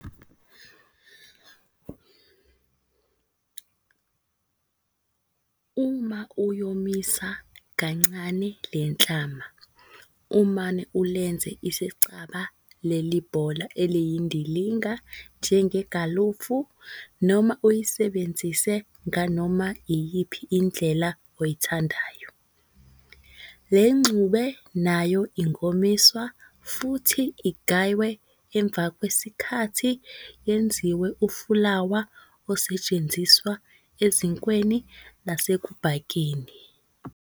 Uma uyomisa kancane le nhlama, umane ulenze isicaba leli bhola eliyindilinga njengegalufu noma uyisebenzise nganoma iyiphi indlela oyithandayo. Le ngxube nayo ingomiswa futhi igaywe emva kwesikhathi yenziwe ufulawa osetshenziswa ezinkweni nasekubhakeni.